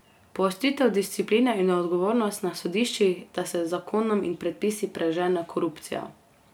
Poostritev discipline in odgovornosti na sodiščih, da se z zakonom in predpisi prežene korupcija.